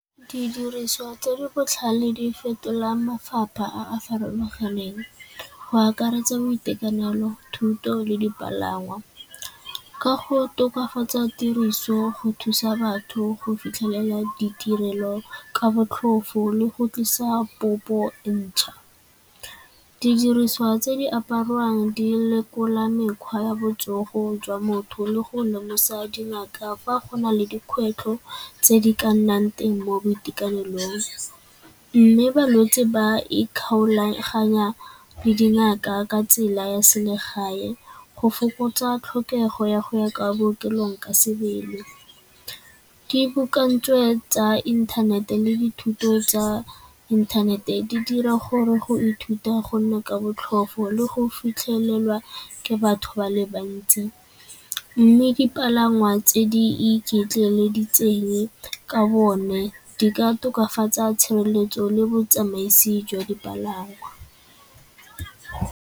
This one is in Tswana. Didiriswa tse di botlhale di fetola mafapha a a farologaneng go akaretsa boitekanelo, thuto le dipalangwa. Ka go tokafatsa tiriso go thusa batho go fitlhelela ditirelo ka botlhofo le go tlisa popo e ntšha. Didiriswa tse di apariwang di lekola mekgwa ya botsogo jwa motho le go lemosa dingaka fa go na le dikgwetlho tse di ka nnang teng mo boitekanelong. Mme balwetsi ba ikgolaganya le dingaka ka tsela ya selegae go fokotsa tlhokego ya go ya kwa bookelong ka sebele. tsa inthanete le dithuto tsa inthanete di dira gore go ithuta gonne ka botlhofo le go fitlhelelwa ke batho ba le bantsi, mme dipalangwa tse di iketleleditseng ka bo one di ka tokafatsa tshireletso le botsamaisi jwa dipalangwa.